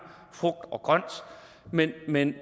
frugt og grønt men men